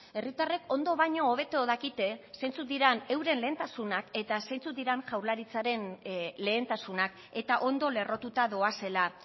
herritarrek ondo baino hobeto dakite zeintzuk diran euren lehentasunak eta zeintzuk diren jaurlaritzaren lehentasunak eta ondo lerrotuta doazela